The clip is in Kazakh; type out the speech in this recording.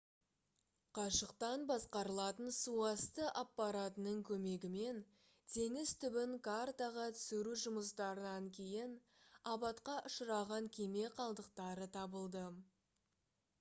қашықтан басқарылатын суасты аппаратының көмегімен теңіз түбін картаға түсіру жұмыстарынан кейін апатқа ұшыраған кеме қалдықтары табылды